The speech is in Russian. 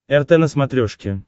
рт на смотрешке